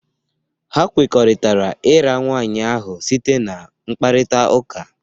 Ha kwekọrịtara ira nwaanyị ahụ site na mkparita ụka.